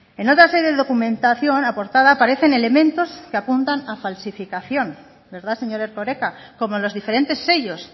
en otra sede documentación aportada aparecen elementos apuntan a falsificación verdad señor erkoreka como los diferentes sellos